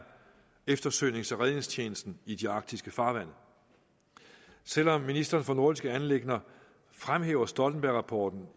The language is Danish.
eftersøgnings og redningstjenesten i de arktiske farvande selv om ministeren for nordiske anliggender fremhæver stoltenbergrapporten